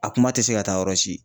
A kuma tɛ se ka taa yɔrɔ si.